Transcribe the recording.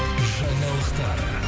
жаңалықтар